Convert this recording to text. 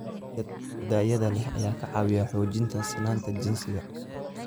Dalagga tayada leh ayaa ka caawiya xoojinta sinnaanta jinsiga.